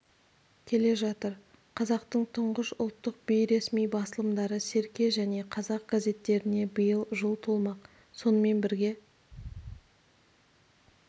келе жатыр қазақтың тұңғыш ұлттық-бейресми басылымдары серке және қазақ газеттеріне биыл жыл толмақ сонымен бірге